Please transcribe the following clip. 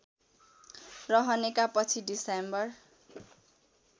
रहनेका पछि डिसेम्बर